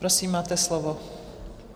Prosím, máte slovo.